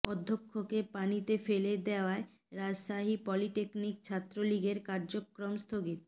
অধ্যক্ষকে পানিতে ফেলে দেয়ায় রাজশাহী পলিটেকনিক ছাত্রলীগের কার্যক্রম স্থগিত